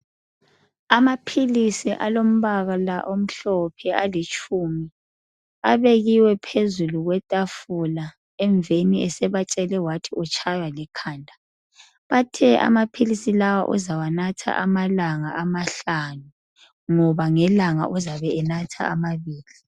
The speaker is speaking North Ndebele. Amaphilisi alombala omhlophe alitshumi abekiwe phambili kwethafula. Emveni esebatshele wathi utshaywa likhanda. Bathe amaphilisi lawa uzawanatha amalanga amahlanu ngoba ngelanga uzabe enatha amabili.